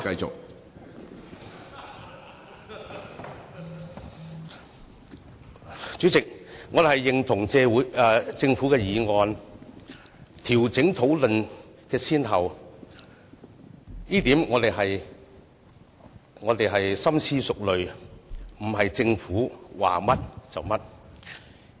主席，我們認同政府的議案，調整討論項目的先後，我們經深思熟慮而作出決定，不是政府說甚麼，我們便做甚麼。